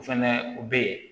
O fɛnɛ u be yen